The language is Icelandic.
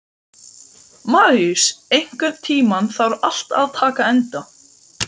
Maríus, einhvern tímann þarf allt að taka enda.